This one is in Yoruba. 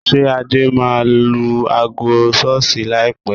Ṣé Adé máa lu aago ṣọ́ọ́ṣì láìpé?